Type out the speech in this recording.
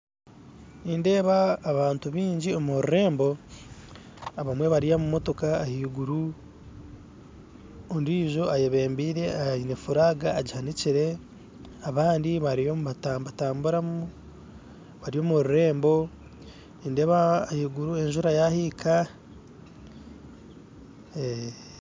Nindeeba abantu bingi omururembo, abamwe bari omu motooka ahiguru ondiijo ayebembire ayine furaga agihanikyire abandi bariyo nibatambatamburamu, baryo omururembo nindeba ahiguru enjjura yahiika ee---.